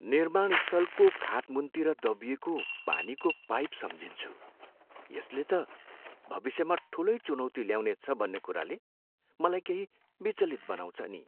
निर्माण स्थलको खातमुन्तिर दबिएको पानीको पाइप सम्झिन्छु यसले त भविष्यमा ठुलै चुनौति ल्याउनेछ भन्ने कुराले मलाई केही विचलित बनाउँछ नि।